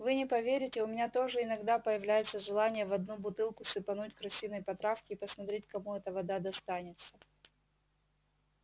вы не поверите у меня тоже иногда появляется желание в одну бутылку сыпануть крысиной потравки и посмотреть кому эта вода достанется